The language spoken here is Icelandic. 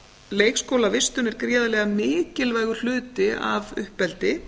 leikskólavistun er gríðarlega mikilvægur hluti af uppeldi